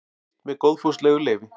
birt með góðfúslegu leyfi